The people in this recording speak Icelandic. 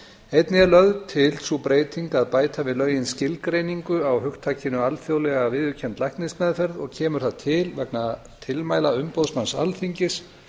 einnig er lögð til sú breyting að bæta við lögin skilgreiningu á hugtakinu alþjóðlega viðurkennd læknismeðferð og kemur það til vegna tilmæla umboðsmanns alþingis